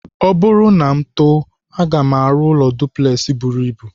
Ọ bụrụ na m too, aga m arụ ụlọ duplex buru ibu.